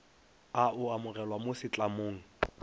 o a amogelwa mo setlamong